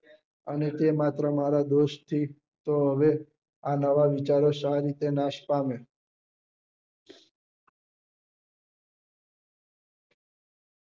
અને તે માત્ર મારા દોષ થી તો હવે આ નવા વિચારો શા રીતે નાશ પામે